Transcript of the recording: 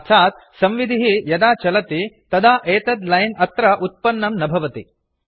अर्थात् संविधिः प्रोग्राम् यदा चलति तदा एतत् लैन् अत्र उत्पन्नं न भवति